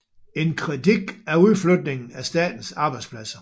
En kritik af udflytningen af statens arbejdspladser